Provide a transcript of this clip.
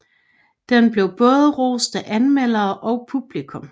Den blev både rost af anmelderne og publikum